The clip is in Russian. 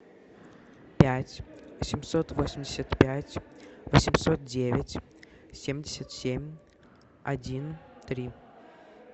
пять семьсот восемьдесят пять восемьсот девять семьдесят семь один три